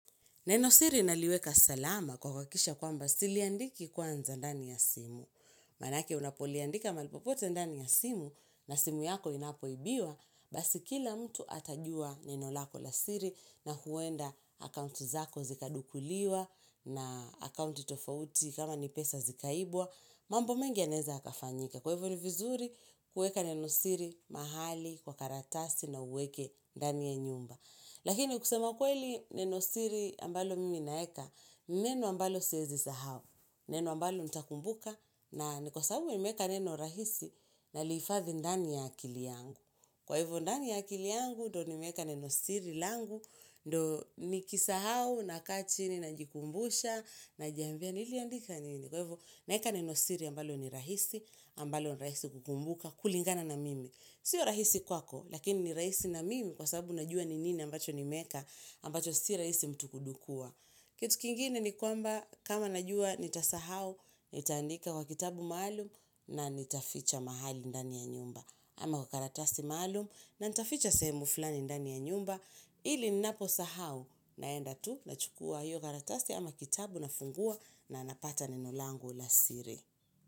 Neno siri naliweka salama kwa kuhakikisha kwamba siliandiki kwanza ndani ya simu. Manake unapoliandika malipopote ndani ya simu na simu yako inapoibiwa, basi kila mtu atajua neno lako la siri na huwenda akounti zako zikadukuliwa na akounti tofauti kama nipesa zikaibwa. Mambo mengi ya neza kafanyika. Kwa hivyo ni vizuri kueka neno siri mahali kwa karatasi na uweke ndani ya nyumba. Lakini kusema kweli neno siri ambalo mimi naeka, neno ambalo siwezi sahau, neno ambalo nitakumbuka, na kwa sababu imeka neno rahisi na liifadhi ndani ya akili yangu. Kwa hivyo ndani ya akili yangu, ndo nimeka neno siri langu, ndo nikisahau, nakachini, najikumbusha, najiambia, niliandika nini. Kwa ivo, naeka nenosiri ambalo ni rahisi, ambalo ni rahisi kukumbuka kulingana na mimi. Sio rahisi kwako, lakini ni rahisi na mimi kwa sababu najua ni nini ambacho ni meka, ambacho si rahisi mtu kudukua. Kitu kingine ni kwamba kama najua nitasahau, nitaandika kwa kitabu maalum na nitaficha mahali ndani ya nyumba. Ama kwa karatasi maalum na nitaficha sehemu fulani ndani ya nyumba. Hili ninapo sahau naenda tu na chukua hiyo garatasi ama kitabu na funguwa na napata nenolangu la siri.